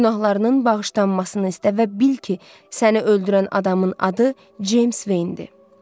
Günahlarının bağışlanmasını istə və bil ki, səni öldürən adamın adı Ceyms Veyndir.